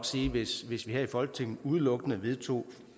sige at hvis vi her i folketinget udelukkende vedtog